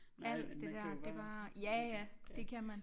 Alt det der det var ja ja det kan man